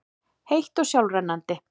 heitt og sjálfrennandi.